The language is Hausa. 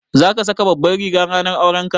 Za ka saka Babbar riga ranar aurenka?